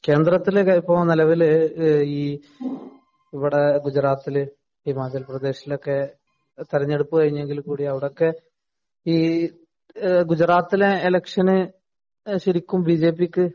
കേന്ദ്രത്തില് ഇപ്പൊ നെലവില് ഈ ഇവിടെ ഗുജറാത്തില്, ഹിമാചല്‍ പ്രദേശിലൊക്കെ തെരഞ്ഞടുപ്പ് കഴിഞ്ഞെങ്കില്‍ കൂടി അവിടൊക്കെ ഗുജറാത്തിലെ എലക്ഷന് ശരിക്കും ബിജെപിക്ക്